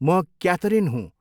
म क्याथरिन हूँ।